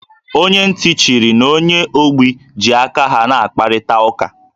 Onye ntị chiri na onye ogbi ji aka ha na-akparịta ụka